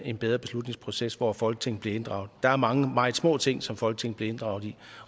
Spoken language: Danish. en bedre beslutningsproces hvor folketinget bliver inddraget der er mange meget små ting som folketinget bliver inddraget i